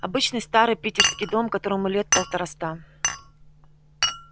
обычный старый питерский дом которому лет полтораста